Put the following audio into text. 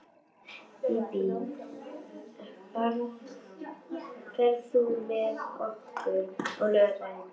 Bíbí, ferð þú með okkur á laugardaginn?